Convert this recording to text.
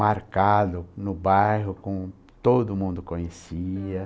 marcado no bairro com todo mundo conhecia.